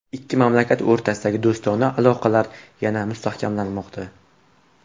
Ikki mamlakat o‘rtasidagi do‘stona aloqalar yanada mustahkamlanmoqda.